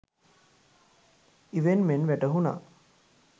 ඉවෙන් මෙන් වැටහුනා.